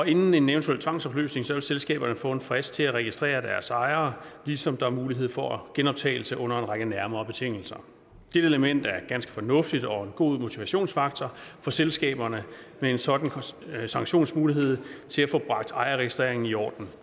inden en eventuel tvangsopløsning vil selskaberne få en frist til at registrere deres ejere ligesom der er mulighed for genoptagelse under en række nærmere betingelser det element er ganske fornuftigt og en god motivationsfaktor for selskaberne med en sådan sanktionsmulighed til at få bragt ejerregistreringen i orden